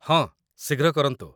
ହଁ, ଶୀଘ୍ର କରନ୍ତୁ।